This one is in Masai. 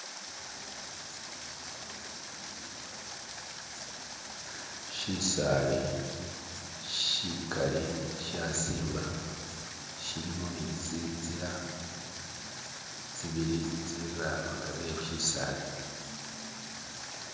Shisali sikaali shasimba, shilimo netsitsila tsibili tsibirira agari we'sisali.